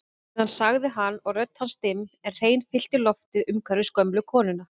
Síðan sagði hann og rödd hans dimm en hrein fyllti loftið umhverfis gömlu konuna